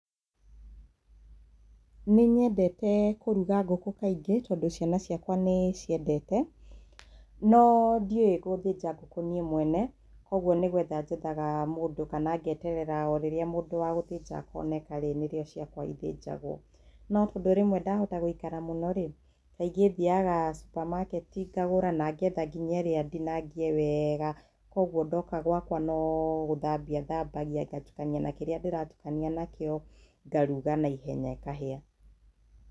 Nĩ nyendete kũruga ngũkũ kaingĩ tondũ ciana ciakwa nĩ ciendete. No ndiũĩ gũthĩnja ngũkũ niĩ mwene, kwoguo nĩ gũetha njethaga mũndũ kana ngeeterera o rĩrĩa mũndũ wa gũthĩnja akonenka rĩ, nĩ rĩo ciakwa ithĩnjagwo. No tondũ rĩmwe ndahota gũikara mũno rĩ, kaingĩ thiaga supamaketi ngagũra, na ngeetha nginya ĩrĩa ndinangie wega. Kwoguo ndoka gwakwa no gũthambia thambagia, ngatukania na kĩrĩa ndĩratukania nakĩo, ngaruga naihenya, ĩkahĩa.